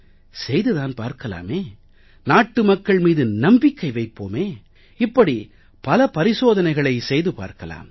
செய்து தான் பார்க்கலாமே நாட்டு மக்கள் மீது நம்பிக்கை வைப்போமே இப்படி பல பரிசோதனைகளை செய்து பார்க்கலாம்